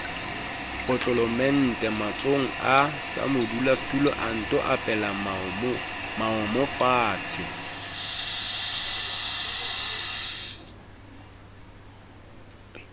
potlolomente matsohonga samadula anto epelamoomofatshe